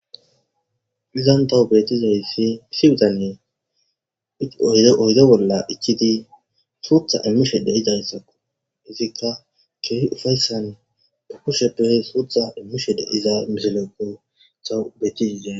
izan tawu betizaysi issi bitanye oyide bolla ichidi suutha immushe de idayssao hizikka keeri ufayssan pukusheppehe suutha immu shede iza miselekko tawu betizide